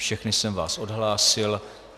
Všechny jsem vás odhlásil.